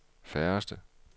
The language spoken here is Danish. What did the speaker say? færreste